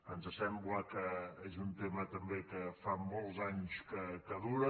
ens sembla que és un tema també que fa molts anys que dura